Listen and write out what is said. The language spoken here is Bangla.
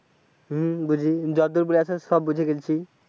হম বুঝি যতদূর বুজাইছো সব বুঝে গেছি।